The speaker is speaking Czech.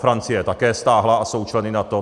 Francie je také stáhla a jsou členy NATO.